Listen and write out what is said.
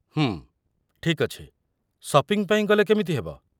ହୁଁ, ଠିକ୍ ଅଛି, ସପିଂ ପାଇଁ ଗଲେ କେମିତି ହେବ?